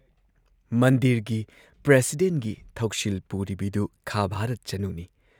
ꯃꯟꯗꯤꯔꯒꯤ ꯄ꯭ꯔꯁꯤꯗꯦꯟꯠꯒꯤ ꯊꯧꯁꯤꯜ ꯄꯨꯔꯤꯕꯤꯗꯨ ꯈꯥ ꯚꯥꯔꯠ ꯆꯅꯨꯅꯤ ꯫